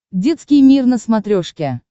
детский мир на смотрешке